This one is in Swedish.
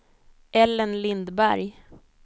Ellen Lindberg